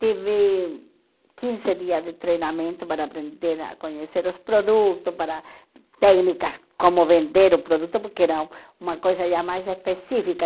Tive quinze dias de treinamento para aprender a conhecer os produtos, para técnicas como vender o produto, porque era uma coisa já mais específica.